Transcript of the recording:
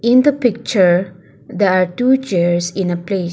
In the picture there are two chairs in a place